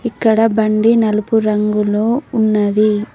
ఇక్కడ బండి నలుపు రంగులొ ఉన్నది.